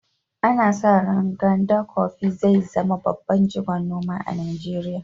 Ana sa ran Nganda Coffee zai zama babban jigon noma a Najeriya.